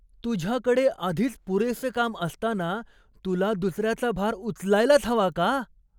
तुझ्याकडे आधीच पुरेसे काम असताना तुला दुसऱ्याचा भार उचलायलाच हवा का?